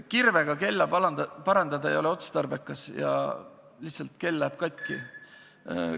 Kirvega kella parandada ei ole otstarbekas, lihtsalt kell läheb katki.